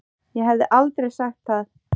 Ég hefði aldrei sagt það.